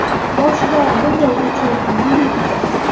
Boshida bunday o‘chlik yengil kechadi.